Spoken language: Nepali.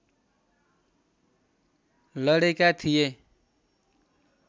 लडेका थिए